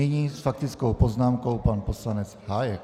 Nyní s faktickou poznámkou pan poslanec Hájek.